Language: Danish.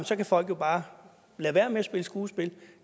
så kan folk bare lade være med at spille skuespil